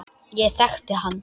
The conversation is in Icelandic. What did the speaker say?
Ég þekkti hann